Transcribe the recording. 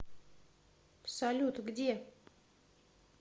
салют где